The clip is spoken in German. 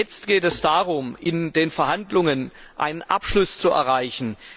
Jetzt geht es darum, in den Verhandlungen einen Abschluss zu erreichen.